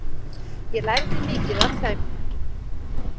Ég lærði mikið af þeim.